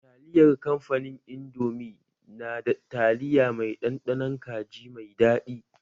Taliyar kamfanin indomi na da taliya mai ɗanɗanon kaji mai daɗi